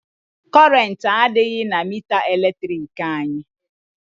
Kọrentị adịghị na mita eletrik anyị.